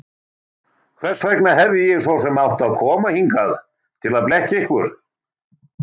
Hvers vegna hefði ég svo sem átt að koma hingað til að blekkja ykkur?